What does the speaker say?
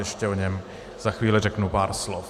Ještě o něm za chvíli řeknu pár slov.